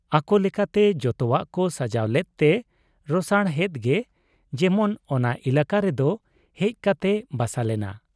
ᱟᱠᱚ ᱞᱮᱠᱟᱛᱮ ᱡᱚᱛᱚᱣᱟᱜ ᱠᱚ ᱥᱟᱡᱟᱣ ᱞᱮᱫ ᱛᱮ ᱨᱚᱥᱟᱬᱦᱮᱫ ᱜᱮ ᱡᱮᱢᱚᱱ ᱚᱱᱟ ᱮᱞᱟᱠᱟ ᱨᱮᱫᱚ ᱦᱮᱡ ᱠᱟᱛᱮᱭ ᱵᱟᱥᱟ ᱞᱮᱱᱟ ᱾